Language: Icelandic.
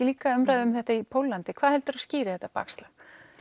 líka umræða um þetta í Póllandi hvað helduru að skýri þetta bakslag